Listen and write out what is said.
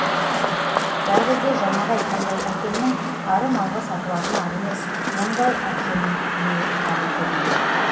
бәрі де жаңағы айтқандай әкемнің ары малға сатылатын ар емес бұндай емді әкем де қабыл көрмейді